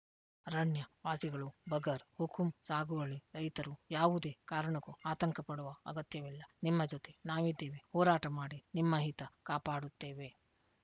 ಅರಣ್ಯವಾಸಿಗಳು ಬಗರ್‌ ಹುಕುಂ ಸಾಗುವಳಿ ರೈತರು ಯಾವುದೆ ಕಾರಣಕ್ಕೂ ಆತಂಕ ಪಡುವ ಅಗತ್ಯವಿಲ್ಲ ನಿಮ್ಮ ಜೊತೆ ನಾವಿದ್ದೇವೆ ಹೋರಾಟ ಮಾಡಿ ನಿಮ್ಮ ಹಿತ ಕಾಪಾಡುತ್ತೇವೆ